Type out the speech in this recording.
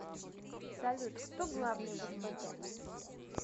салют кто главный в сбт